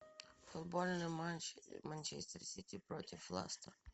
футбольный матч манчестер сити против лестер